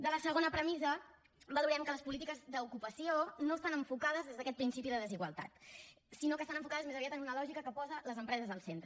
de la segona premissa en valorem que les polítiques d’ocupació no estan enfocades des d’aquest principi de desigualtat sinó que estan enfocades més aviat en una lògica que posa les empreses al centre